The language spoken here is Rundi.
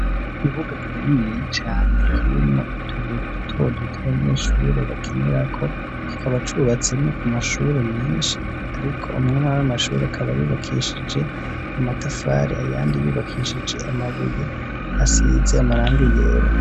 ibuga kiniya cane nkirino tubuye dutodute ikibuga kininiya cane bakinera ko kikabacubatse mi amashuri menshi ariko amwamari amashuri akaba yubakishije amatafari ayandi yubakishije amabuye asize amaranga iyera